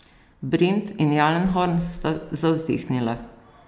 Brint in Jalenhorm sta zavzdihnila.